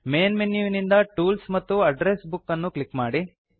main ಮೆನುವಿನಿಂದ tools ಮತ್ತು address book ಅನ್ನು ಕ್ಲಿಕ್ ಮಾಡಿ